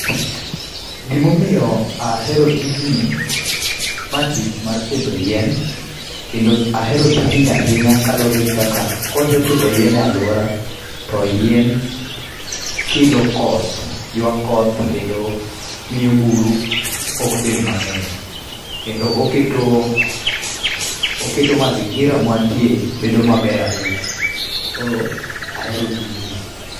Gima omiyo ahero tijni ma tich mar pidho yien kendo ahero tijni ahinya kaluore gi kaka kosepidho yien e aluora to yien kelo koth, ywa koth kendo miyo buru ok bed mangeny kendo oketo ,oketo mazingira ma wantie bedo maber ahinya. Koro ahero tijni